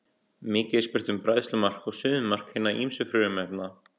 Mikið er spurt um bræðslumark og suðumark hinna ýmsu frumefna.